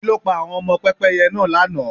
Kí ló pa àwọn ọmọ Pẹ́pẹ́yẹ náà lànà?